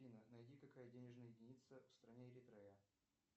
афина найди какая денежная единица в стране эритрея